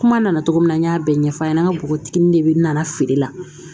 Kuma nana cogo min na n y'a bɛɛ ɲɛfɔ a ɲɛna an ka bogotigini de nana feere la